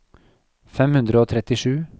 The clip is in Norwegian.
fem hundre og trettisju